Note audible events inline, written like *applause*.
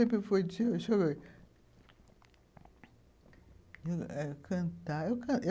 Sempre foi *unintelligible* cantar, eu canto.